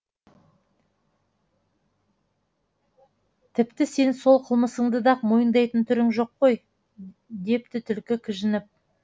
тіпті сен сол қылмысыңды да мойындайтын түрің жоқ қой депті түлкі кіжініп